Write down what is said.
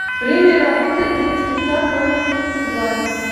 время работы детский сад номер тридцать два